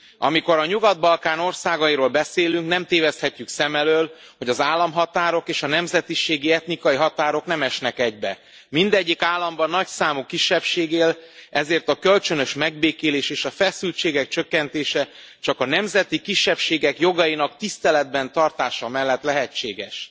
Amikor a Nyugat Balkán országairól beszélünk, nem téveszthetjük szem elől, hogy az államhatárok és a nemzetiségi, etnikai határok nem esnek egybe, mindegyik államban nagyszámú kisebbség él, ezért a kölcsönös megbékélés és a feszültségek csökkentése csak a nemzeti kisebbségek jogainak tiszteletben tartása mellett lehetséges.